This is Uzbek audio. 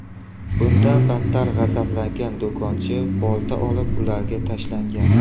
Bundan battar g‘azablangan do‘konchi bolta olib, ularga tashlangan.